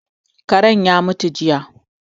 Karen ya mutu jiya